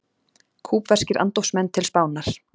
Kúbverskir andófsmenn til Spánar